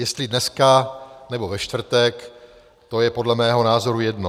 Jestli dneska, nebo ve čtvrtek, to je podle mého názoru jedno.